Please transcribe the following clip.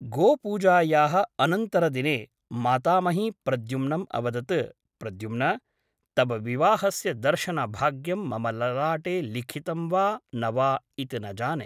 गोपूजायाः अनन्तरदिने मातामही प्रद्युम्नम् अवदत् प्रद्युम्न तव विवाहस्य दर्शनभाग्यं मम ललाटे लिखितं वा न वा इति न जाने ।